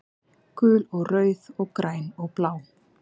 Gul og rauð og græn og blá